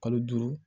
Kalo duuru